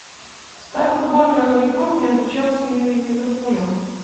поставь футбольную игру между челси и ливерпулем